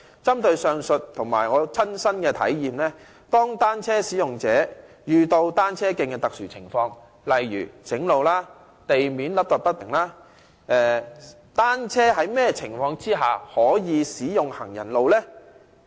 針對上述例子和我的親身體驗，當單車使用者遇上單車徑的特殊情況，例如修路或路面凹凸不平時，單車在甚麼情況下才可使用行人路呢？